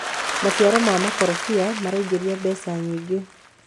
maciaro ma makondobia maraingiria betha nyingi